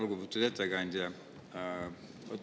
Lugupeetud ettekandja!